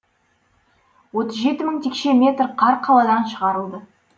отыз жеті мың текше метр қар қаладан шығарылды